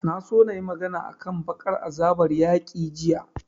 Na so na yi magana a kan baƙar azabar yaƙi jiya